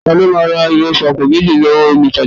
Ta ló ma ra ìrẹsì àpò méjì lọ́wọ́ olutaja